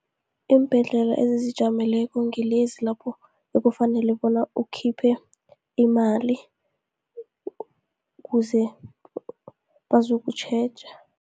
Iimbhedlela ezizijameleko, ngilezi lapho ekufanele bona ukhiphe imali, kuze bazokutjheja.